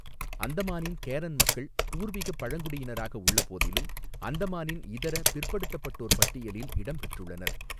அந்தமானின் Karen மக்கள் பூர்வீகப் பழங்குடியினராக உள்ளபோதிலும், அந்தமானின் இதர பிற்படுத்தப்பட்டோர் பட்டியலில் இடம்பெற்றுள்ளனர்.